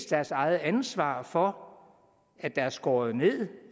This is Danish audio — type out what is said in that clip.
deres eget ansvar for at der er skåret ned